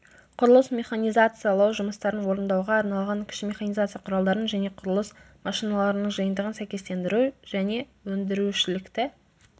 құрылыс механизациялау жұмыстарын орындауға арналған кіші механизация құралдарын және құрылыс машиналарының жиынтығын сәйкестендіру және өндірушілікті